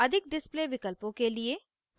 अधिक display विकल्पों के लिए